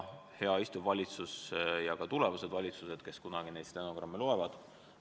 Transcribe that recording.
Hea praegune valitsus ja ka tulevased valitsused, kes kunagi neid stenogramme loevad!